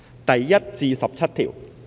第1至17條。